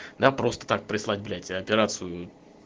да просто так прислать блять операцию